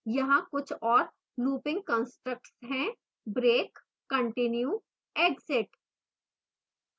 यहाँ कुछ और looping constructs हैं